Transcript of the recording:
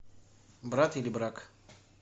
брат или брак